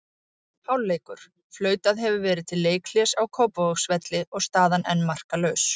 Hálfleikur: Flautað hefur verið til leikhlés á Kópavogsvelli og staðan enn markalaus.